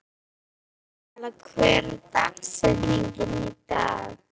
Aríella, hver er dagsetningin í dag?